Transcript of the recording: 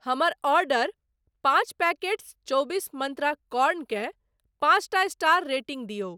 हमर ऑर्डर पाँच पैकेट्स चौबीस मंत्रा कॉर्न केँ पाँचटा स्टार रेटिंग दियौ।